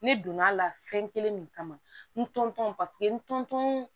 Ne donn'a la fɛn kelen min kama n tɔn paseke ntɔn